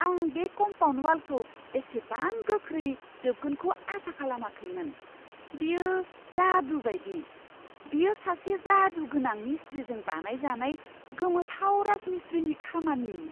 आं बे कम्पाउन्ड वालखौ एसेबां गोख्रै जोबगोनखौ आसा खालामाखैमोन, बेयो जादु बायदि! बेयो सासे जादुगोनां मिस्ट्रिजों बानायजानाय गोमोथाव राजमिस्ट्रिनि खामानि!